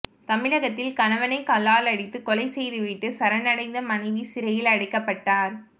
தமிழகத்தில் கணவனை கல்லால் அடித்து கொலை செய்துவிட்டு சரண் அடைந்த மனைவி சிறையில் அடைக்கப்பட்டார்